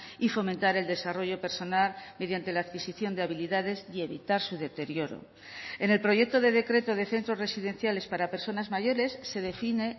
y fomentar el desarrollo personal mediante la adquisición de habilidades y evitar su deterioro en el proyecto de decreto de centros residenciales para personas mayores se define